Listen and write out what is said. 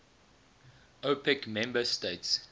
opec member states